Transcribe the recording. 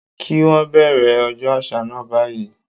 Kí wón bẹ̀rẹ̀ ọjọ́ àṣà náà báyìí.